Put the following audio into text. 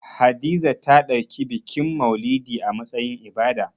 Hadiza ta ɗauki bikin maulidi a matsayin ibada